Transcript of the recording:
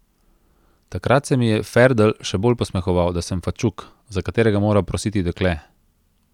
Takrat se mi je Ferdl še bolj posmehoval, da sem fačuk, za katerega mora prositi dekle.